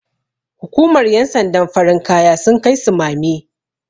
hukumar yansandan farin kaya sun Kai sumame